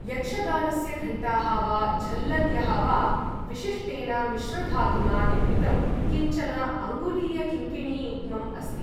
यक्षगानस्य घण्टाः वा झल्लर्यः वा, विशिष्टेन मिश्रधातुना निर्मितम् किञ्चन अङ्गुलीयकिङ्किणी युग्मम् अस्ति।